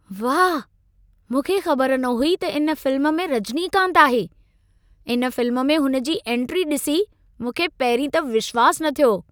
वाह! मूंखे ख़बर न हुई त इन फिल्म में रजनीकांत आहे। इन फिल्म में हुन जी एन्ट्री ॾिसी मूंखे पहिरीं त विश्वासु न थियो।